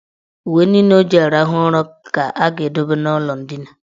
Uwe niile o ji arahụ ụra ga a ga-edobe n' ụlọ ndina.